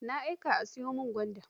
Na aika a sayo min gwanda.